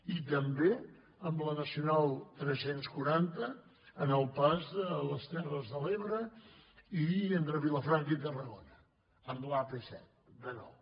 i també amb la nacional tres cents i quaranta en el pas de les terres de l’ebre i entre vilafranca i tarragona amb l’ap set de nou